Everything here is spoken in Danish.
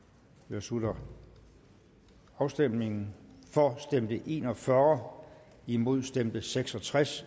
slutter afstemningen for stemte en og fyrre imod stemte seks og tres